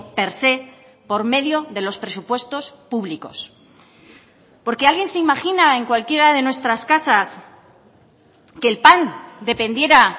per sé por medio de los presupuestos públicos porque alguien se imagina en cualquiera de nuestras casas que el pan dependiera